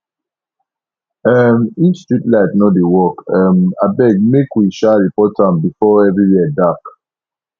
um if street light no dey work um abeg make we um report am before everywhere dark